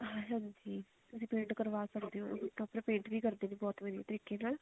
ਹਾਂਜੀ ਤੁਸੀਂ paint ਕਰਵਾ ਸਕਦੇ ਹੋ ਆਪਣਾ paint ਵੀ ਕਰਦੇ ਨੇ ਬਹੁਤ ਵਧੀਆ ਤਰੀਕੇ ਨਾਲ